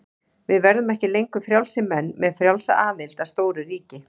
Við verðum ekki lengur frjálsir menn með frjálsa aðild að stóru ríki.